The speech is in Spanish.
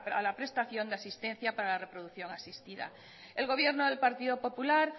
a la prestación de asistencia para la reproducción asistida el gobierno del partido popular